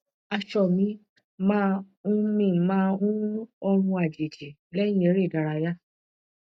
aṣọ mi máa ń mi máa ń ní òórùn àjèjì lẹyìn eré ìdárayá